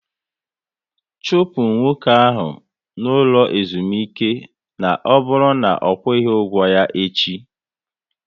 Chụpụ nwoke ahụ n'ụlọ ezumike na ọ bụrụ na ọ kwughi ụgwọ ya echi!